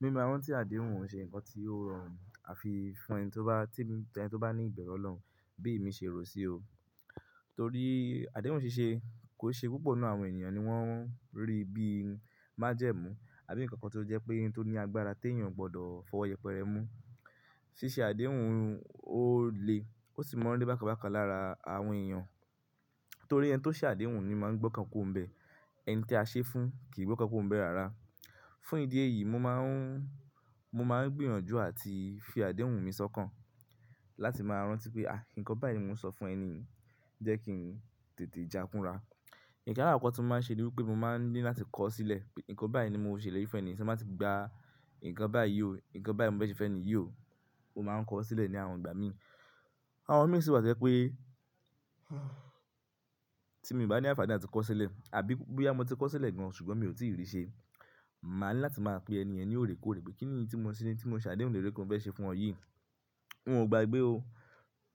Mi ma rántí àdéhùn o se nkan tí o rọrùn àfi fún ẹni tí ó bá, tí ẹni tí ó bá ní ìberu Ọlọ́run bí èmi ṣe rò ó sí o. Torí àdéhùn ṣíṣe kò n ṣe púpọ̀ nínú àwọn ènìyàn ni wọ́n rí bí i májẹ̀mú àbí nkankan tó jẹ́ pé n tó ní agbára tí èèyàn o gbọdọ̀ fọwọ́ yẹpẹrẹ mú. Síṣe àdéhùn ó le, ó sì maa n rí bákan bákan lára àwọn èèyàn. Torí ẹni tí ó ṣe àdéhùn ni máa n gbọ́kàn kuro ń bẹ. Ẹni tí a ṣe fún kì í gbọ́kàn kuro nibe ara. Fún ìdí èyí, mo máa ń, mo máa ń gbìyànjú àti fi àdéhùn mi sọ́kàn láti máa rántí pé, ah, nkan báyìí ni mo ń sọ fún ẹni yii, jẹ́ kí n tètè jákúnra. Nkan alakoko tí mo máa ń ṣe ní wipé mo máa ń ní láti kọ ọ́ sílẹ̀ pé nǹkan báyìí ni mo ṣelèri fi fún ẹni yii, tí mo bá ti gba, nkan báyìí ò, nkan báyìí ni mo fẹ́ ṣe fún ẹni yii ó máa ń kọ ọ́ sílẹ̀ ní àwọn ìgbà mi. Àwọn mi sì wá to je pé tí mii bá ní àǹfààní áti kọ ọ́ sílẹ̀ àbí boya mo ti kọ ọ́ sílẹ̀ gan-an ṣùgbọ́n mi ò tí ì rí i ṣe, màá ní láti máa pe ẹn yen ní oòrèkóore pé kí nìyí tí mo ṣe ní, tí mo ṣe àdéhùn lé lori pe monfẹ́ ṣe fún ọ yìí. N ò gbagbé o.